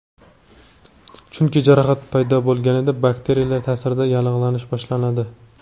Chunki, jarohat paydo bo‘lganda, bakteriyalar ta’sirida yallig‘lanish boshlanadi.